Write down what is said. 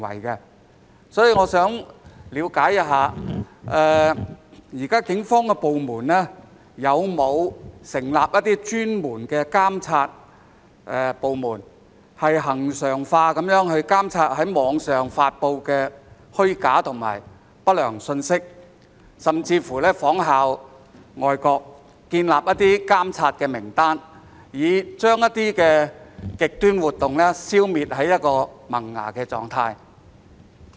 就此，我想了解，現時警方有否成立專門的監察部門，恆常地監察網上發布的虛假和不良信息，甚或仿效外國建立監察名單，以將極端活動消滅於萌芽狀態？